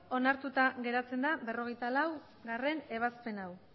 onartuta geratzen da berrogeita laugarrena ebazpen hau